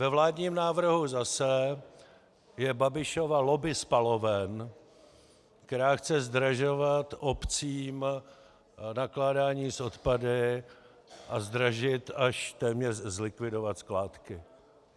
Ve vládním návrhu zase je Babišova lobby spaloven, která chce zdražovat obcím nakládání s odpady a zdražit, až téměř zlikvidovat skládky.